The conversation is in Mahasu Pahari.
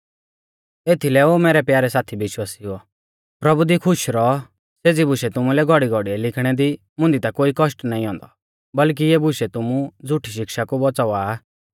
एथीलै ओ मैरै प्यारै साथी विश्वासिउओ प्रभु दी खुश रौऔ सेज़ी बुशै तुमुलै घौड़ीघौड़िऐ लिखणै दी मुंदी ता कोई कौष्ट नाईं औन्दौ बल्कि इऐ बुशै तुमु झ़ुठी शिक्षा कु बौच़ावा आ